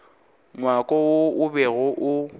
ngwako wo o bego o